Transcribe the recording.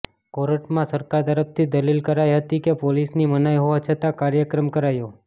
કોર્ટમાં સરકાર તરફથી દલીલ કરાઇ હતી કે પોલીસની મનાઇ હોવા છતા કાર્યક્રમ કરાયો